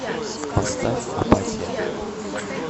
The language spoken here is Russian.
поставь апатия